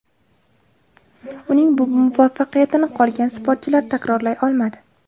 Uning bu muvaffaqiyatini qolgan sportchilar takrorlay olmadi.